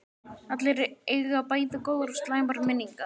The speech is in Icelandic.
Allir eiga bæði góðar og slæmar minningar.